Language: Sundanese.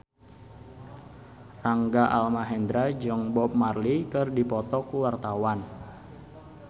Rangga Almahendra jeung Bob Marley keur dipoto ku wartawan